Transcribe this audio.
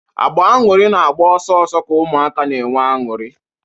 Agba-ọñụrị na-agba ọsọ ọsọ ka ụmụaka na-enwe anụrị.